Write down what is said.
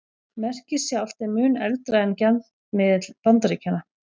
Merkið sjálft er mun eldra en gjaldmiðill Bandaríkjanna.